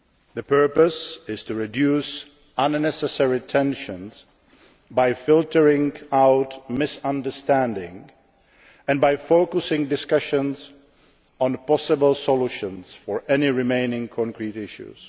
Agreement. The purpose is to reduce unnecessary tensions by filtering out misunderstandings and by focusing discussions on possible solutions for any remaining concrete